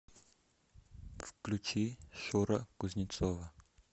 включи шура кузнецова